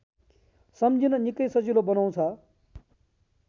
सम्झिन निकै सजिलो बनाउँछ